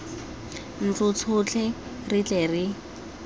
ntlo tsotlhe re tle re